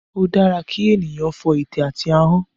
Ó dára kí ènìyàn fọ ète àti ahọ́n